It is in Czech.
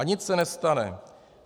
A nic se nestane.